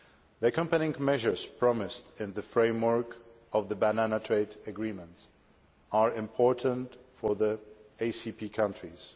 The accompanying measures promised in the framework of the banana trade agreements are important for the ACP countries.